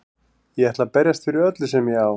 Ég ætla að berjast fyrir öllu sem ég á.